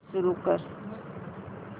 सुरू कर